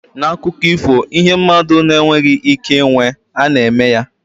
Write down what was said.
N'akụkọ ifo, ihe mmadụ na-enweghị ike ịnwe, a na-eme ya.